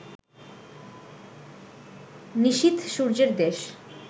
নিশীথ সূর্যের দেশ